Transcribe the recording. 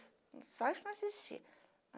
Só não assistia.